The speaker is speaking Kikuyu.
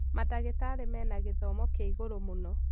Mandagĩtarĩ mena gĩthomo kĩa igũrũ mũno